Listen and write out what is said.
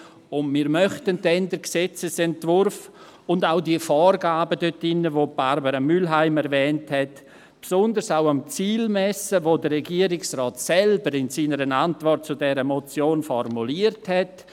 Dann möchten wir den Gesetzesentwurf und auch die dort enthaltenen Vorgaben, die Barbara Mühlheim erwähnt hat, besonders auch am Ziel messen, das der Regierungsrat selbst in seiner Antwort zu dieser Motion formuliert hat.